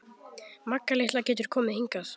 Magga litla getur komið hingað.